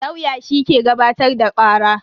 Lauya shi ke gabatar da kara.